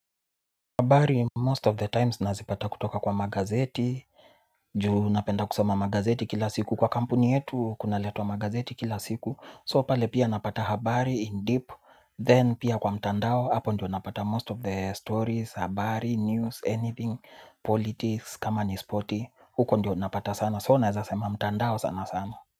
Habari most of the times nazipata kutoka kwa magazeti. Juu napenda kusoma magazeti kila siku kwa kampuni yetu kuna letwa magazeti kila siku So pale pia napata habari in deep Then pia kwa mtandao hapo ndio napata most of the stories, habari, news, anything, politics, kama ni sport, huko ndio napata sana, soo naweza sema mtandao sana sana.